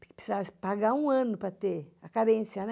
Porque precisava pagar um ano para ter, a carência, né?